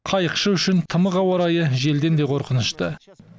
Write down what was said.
қайықшы үшін тымық ауа райы желден де қорқынышты